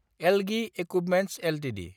Elgi equipments Ltd